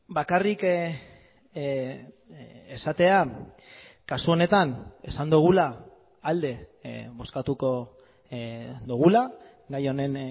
bakarrik esatea kasu honetan esan dugula alde bozkatuko dugula gai honen